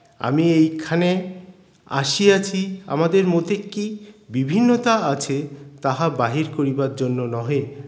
আমি এইক্ষানে আসিয়াছি আমাদের মতে কী বিভিন্নতা আছে তাহা বাহির করিবার জন্য নহে